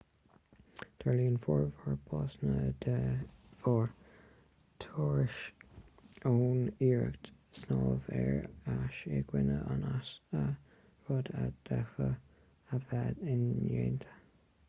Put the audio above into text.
tarlaíonn formhór básanna de bharr tuirse ón iarracht snámh ar ais i gcoinne an easa rud a d'fhéadfadh a bheith indéanta